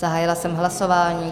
Zahájila jsem hlasování.